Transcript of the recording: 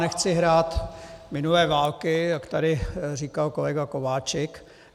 Nechci hrát minulé války, jak tady říkal kolega Kováčik.